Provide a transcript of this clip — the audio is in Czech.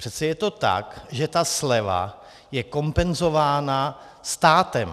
Přece je to tak, že ta sleva je kompenzována státem.